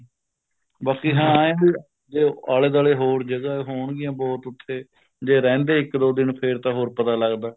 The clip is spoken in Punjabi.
ਬਾਕੀ ਹਾਂ ਇਹ ਵੀ ਜੇ ਆਲੇ ਦੁਆਲੇ ਹੋਰ ਜਗ੍ਹਾ ਹੋਣਗੀਆਂ ਬਹੁਤ ਉੱਥੇ ਜੇ ਰਹਿੰਦੇ ਇੱਕ ਦੋ ਦਿਨ ਤਾਂ ਹੋਰ ਪਤਾ ਲੱਗਦਾ